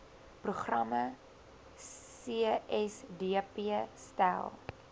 programme csdp stel